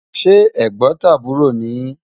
se Ẹ̀gbótàbúrọ̀ ni yi?